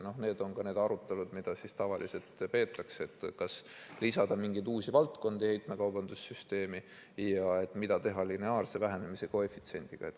Need on need arutelud, mida tavaliselt peetakse, et kas lisada mingeid uusi valdkondi heitmekaubanduse süsteemi ja mida teha lineaarse vähenemise koefitsiendiga.